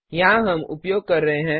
यहाँ हम उपयोग कर रहे हैं